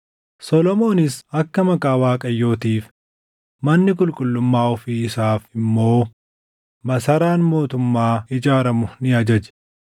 Solomoonis akka Maqaa Waaqayyootiif manni qulqullummaa ofii isaaf immoo masaraan mootummaa ijaaramu ni ajaje.